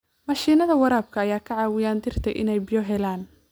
Mashiinnada waraabka ayaa ka caawiya dhirta inay biyo helaan.